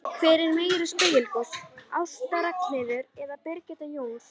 Hver er meiri sprelligosi, Ásta Ragnheiður eða Birgitta Jóns?